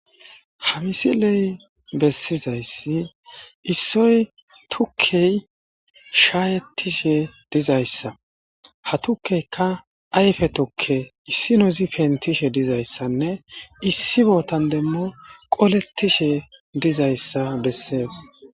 Ha misiley bessizayssi issoy tukkey shaayettishe dizayssa. Ha tukkeykka ayfe tukke, issinozi pentishe dizayssanne issi bootan demo qolettishe dizayssa bessees.